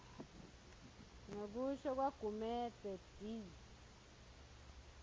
ngekusho kwagumedze d